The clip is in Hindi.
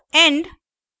ruby code